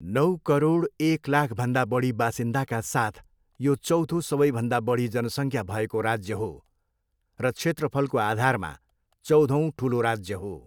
नौ करोड, एक लाखभन्दा बढी बासिन्दाका साथ, यो चौथो सबैभन्दा बढी जनसङ्ख्या भएको राज्य हो र क्षेत्रफलको आधारमा चौधौँ ठुलो राज्य हो।